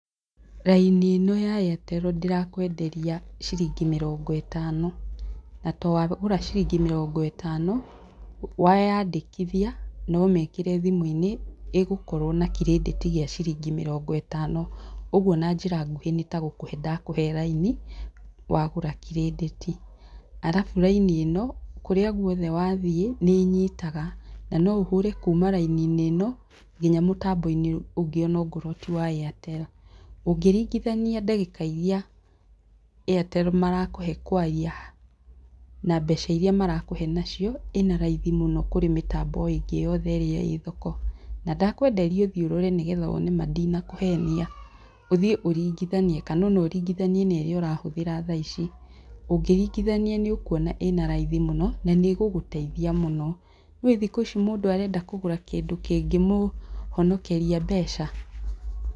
Raini ĩno ya Airtel ndĩrakwenderia ciringi mĩrongo ĩtano, na twagũra ciringi mĩrongo ĩtano weyandĩkithia no ũmĩkĩre thimũ-inĩ ĩgokorwo na credit ya mĩrongo ĩtano, ũguo na njĩra nguhĩ nĩ ta gũkuhe nadakũhe laini wagũra credit. Arabu raini ĩno, kũrĩa guothe wathiĩ nĩ nyitaga, na no ũhũre kuma laini-inĩ ĩno nginya mũtambo-inĩ ũngĩ ona korwo ti wa Airtel. Ũngĩringithania ndagĩka iria Airtel marakũhe kwaria na mbeca iria marakũhe nacio, ĩna raithi mũno kũrĩ mĩtambo ĩngĩ yothe ĩrĩ ĩĩ thoko, na ndakwenderia ũthiĩ ũrore nĩgetha wone ma ndinakũhenia, ũthiĩ ũringithanie kana ona ũringithanie na ĩrĩa ũrahũthĩra tha ici. Ũngĩringithania nĩ ũkuona ĩna raithi mũno na nĩ ĩgũgũteithia mũno, nĩũĩ thikũ ici mũndũ arenda kũgũra kĩndũ kĩngĩmũhonokeria mbeca.